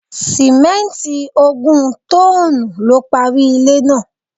Sìmẹ́nti ogún tọ́n-ọ́n-nù lo parí ilé náà.